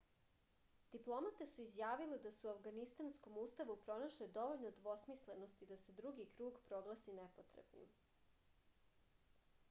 diplomate su izjavile da su u avganistanskom ustavu pronašle dovoljno dvosmislenosti da se drugi krug proglasi nepotrebnim